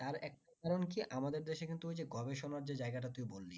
তার একটা কারণ কি আমাদের দেশে কিন্তু গবেষনার যে জায়গা টা তুই বললি